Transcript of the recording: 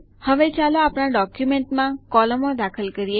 હવે ચાલો આપણા ડોક્યુમેન્ટમાં કોલમો દાખલ કરીએ